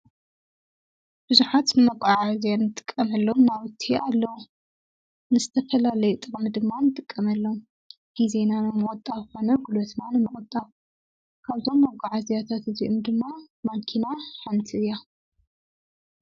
ብዙኃት ንመቛዓ እዘያን ጥቀመሎም ናውቲ ኣሎ ንስተፈላለይ ጥባኒ ድማ ንጥቀመሎም ኪዜናንመወጣፍነ ጕሉትማን መወጣ ካብዞም መጕዓ እዚያታት እዙኡም ድማ ማኪና ሓንቲ ያ::